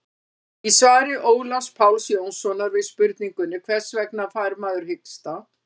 í svari ólafs páls jónssonar við spurningunni hvers vegna fær maður hiksta